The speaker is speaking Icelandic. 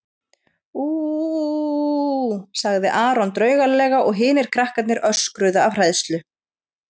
Ú ú ú ú ú, sagði Aron draugalega og hinir krakkarnir öskruðu af hræðslu.